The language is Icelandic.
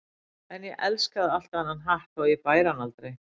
En ég elskaði alltaf þennan hatt þótt ég bæri hann aldrei.